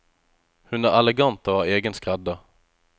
Hun er elegant, og har egen skredder.